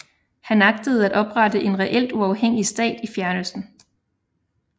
Han agtede at oprette en reelt uafhængig stat i fjernøsten